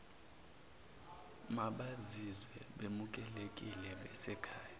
mabazizwe bemukelekile besekhaya